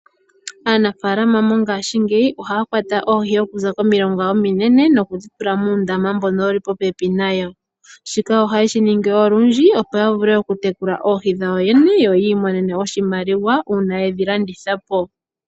Aanafaalama mongashingeyi ohaya kwata oohi okuza komilonga ominene nokudhi tula muundama mbono wuli popepi nayo. Shika ohayeshi ningi olundji opo ya vule okutekula oohi dhayo yene yo yi imonene oshimaliwa uuna yedhi landitha po.